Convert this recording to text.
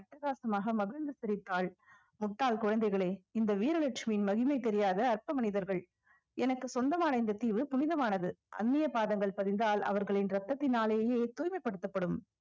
அட்டகாசமாக மகிழ்ந்து சிரித்தாள் முட்டாள் குழந்தைகளே இந்த வீரலட்சுமியின் மகிமை தெரியாத அற்ப மனிதர்கள் எனக்கு சொந்தமான இந்த தீவு புனிதமானது அன்னிய பாதங்கள் பதிந்தால் அவர்களின் ரத்தத்தினாலேயே தூய்மைப்படுத்தப்படும்